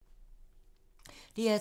DR2